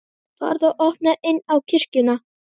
Farðu og opnaðu inn í kirkjuna.